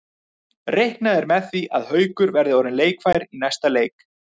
Reiknað er með því að Haukur verði orðinn leikfær í næsta leik.